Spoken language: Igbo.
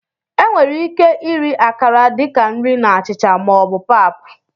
Enwere ike iri Akara dị ka nri na achịcha ma ọ bụ pap.